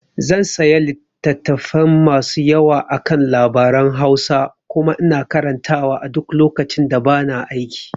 zan saya littatafai masu yawa akan labaran Hausa kuma ina karantawa a duk lokacin da bana aiki